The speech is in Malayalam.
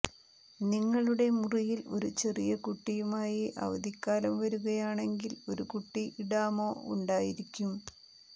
നിങ്ങളുടെ മുറിയിൽ ഒരു ചെറിയ കുട്ടിയുമായി അവധിക്കാലം വരുകയാണെങ്കിൽ ഒരു കുട്ടി ഇടാമോ ഉണ്ടായിരിക്കും